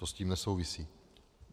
To s tím nesouvisí.